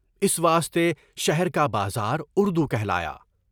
اس واسطے شہر کا بازار اردو کہلایا۔